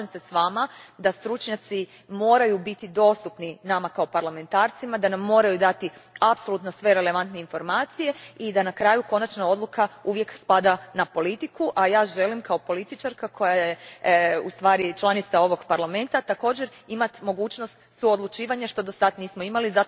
Slažem se s vama da stručnjaci moraju biti dostupni nama parlamentarcima, da nam moraju dati sve relevantne informacije i da na kraju konačna odluka uvijek spada na politiku, a ja želim kao političarka koja je članica ovog Parlamenta također imati mogućnost suodlučivanja, što do sada nismo imali.